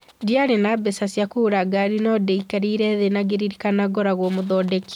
"Ndĩari na mbeca cia kũgũra ngari no ndekarire thĩĩ na ngĩrĩrikana ngoragwo mũthondeki